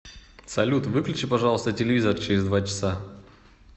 салют выключи пожалуйста телевизор через два часа